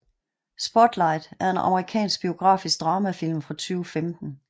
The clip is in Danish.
Spotlight er en amerikansk biografisk dramafilm fra 2015